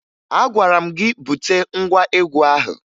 Agwara m gị bute ngwa egwu ahụ!